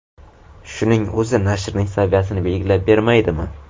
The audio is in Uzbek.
Shuning o‘zi nashrning saviyasini belgilab bermaydimi?